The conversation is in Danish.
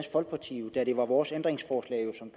folkeparti da det var vores ændringsforslag som